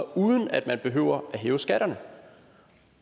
uden at man behøver at hæve skatterne